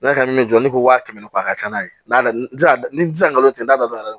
N'a ka min jɔ ni wa kɛmɛ ni kɔ a ka ca n'a ye n'a se n ti se ka nkalon tigɛ n'a dalen don